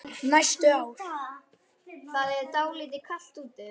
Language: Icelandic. Næstu ár.